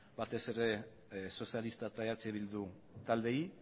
batez ere sozialista eta eh bildu taldeei